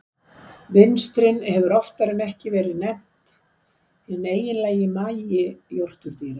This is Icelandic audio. vinstrin hefur oftar en ekki verið nefnt hinn eiginlegi magi jórturdýra